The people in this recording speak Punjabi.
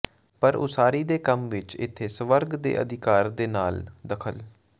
ਪਰ ਉਸਾਰੀ ਦੇ ਕੰਮ ਵਿਚ ਇੱਥੇ ਸਵਰਗ ਦੇ ਅਧਿਕਾਰ ਦੇ ਨਾਲ ਦਖ਼ਲ